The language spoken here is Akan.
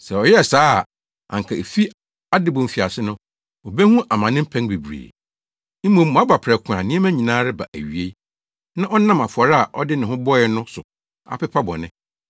Sɛ ɔyɛɛ saa a, anka efi adebɔ mfiase no, obehu amane mpɛn bebree. Mmom, waba prɛko a nneɛma nyinaa reba awiei, na ɔnam afɔre a ɔde ne ho bɔe no so apepa bɔne.